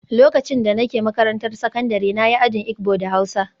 Lokacin da nake makarantar sakandare na yi ajin Igbo da Hausa